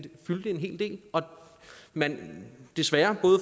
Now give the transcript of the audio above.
fyldte en hel del og man desværre både